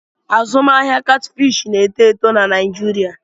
Azụmahịa Catfish na-eto eto na Naịjirịa.